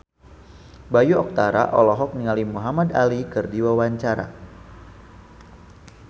Bayu Octara olohok ningali Muhamad Ali keur diwawancara